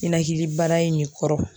Ninakilibana in de kɔrɔ